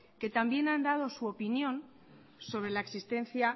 que también han dado su opinión sobre la existencia